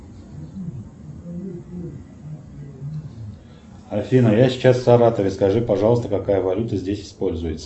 афина я сейчас в саратове скажи пожалуйста какая валюта здесь используется